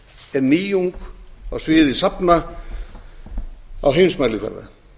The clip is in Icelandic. er nýjung á sviði safna á heimsmælikvarða